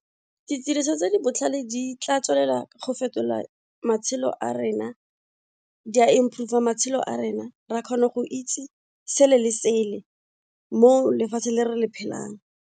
Ditiriso tse di botlhale di tla tswelela go fetola matshelo a rena, di a improve-r matshelo a rena, re a kgona go itse sele le sele mo lefatsheng le re le phelang.